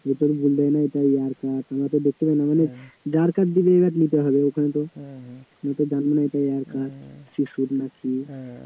যা কাঠ দেবে ওখানে নিতে হবে তো, তুমি তো আর জানো নাই এটা কীসের কাঠ না কি?